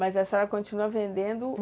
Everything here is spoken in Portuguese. Mas a senhora continua vendendo?